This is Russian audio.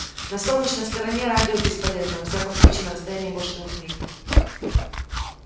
на солнечной стороне радио бесполезно во всяком случае на расстоянии больше двух миль